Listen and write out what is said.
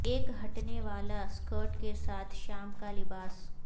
ایک ہٹنے والا سکرٹ کے ساتھ شام کا لباس